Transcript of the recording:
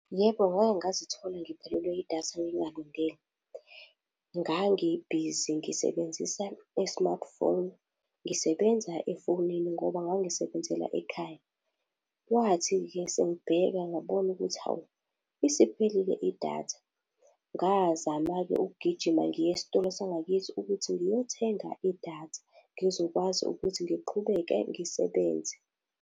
Yebo, ngake ngazithola ngiphelelwa idatha ngingalindele. Ngangibhizi ngisebenzisa i-smartphone, ngisebenza efonini ngoba ngangisebenzela ekhaya. Kwathi-ke sengibheka ngabona ukuthi hawu, isiphelile idatha. Ngazama-ke ukugijima ngiye esitolo sangakithi ukuthi ngiyothenga idatha ngizokwazi ukuthi ngiqhubeke ngisebenze.